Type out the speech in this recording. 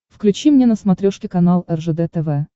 включи мне на смотрешке канал ржд тв